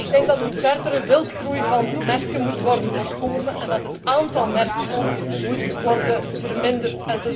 Ik denk dat een verdere wildgroei aan merken moet worden voorkomen en dat het aantal merken moet worden verminderd.